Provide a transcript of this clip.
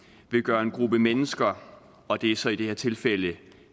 vil gøre at en gruppe mennesker og det er så i det her tilfælde